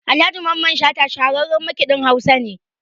Alhaji Mamman Shata shahararran maikiɗin Hausa ne.